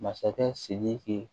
Masakɛ sidiki